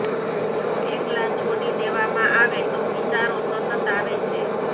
જો એકલા છોડી દેવામાં આવે તો વિચારો સતત આવે છે